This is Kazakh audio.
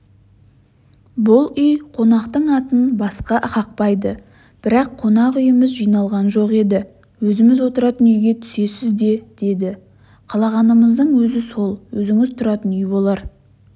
бұл үй қонақтың атын басқа қақпайды бірақ қонақ үйіміз жиналған жоқ еді өзіміз отыратын үйге түсесіз де деді қалағанымыздың өзі сол өзіңіз тұратын үй болар